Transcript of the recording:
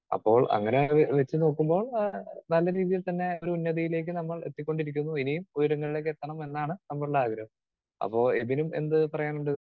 Speaker 2 അപ്പോൾ അങ്ങനെ വെ വച്ചുനോക്കുമ്പോൾ ആഹ് നല്ല രീതിയിൽ തന്നെ ഒരു ഉന്നതിയിലേക്ക് നമ്മൾ എത്തിക്കൊണ്ടിരിക്കുന്നു. ഇനിയും ഉയരങ്ങളിലേക്ക് എത്തണംന്ന് തന്നാണ് നമ്മളുടെ ആഗ്രഹം. അപ്പോ എബിനും എന്ത് പറയാനുണ്ട്?